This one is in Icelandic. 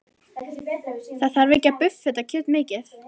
Það þarf ekki að buffa þetta kjöt mikið.